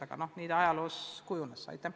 Aga noh, nii ta on ajalooliselt välja kujunenud.